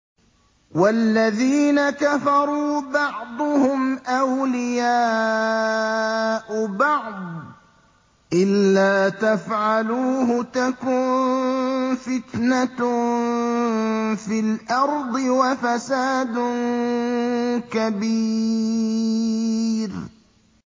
وَالَّذِينَ كَفَرُوا بَعْضُهُمْ أَوْلِيَاءُ بَعْضٍ ۚ إِلَّا تَفْعَلُوهُ تَكُن فِتْنَةٌ فِي الْأَرْضِ وَفَسَادٌ كَبِيرٌ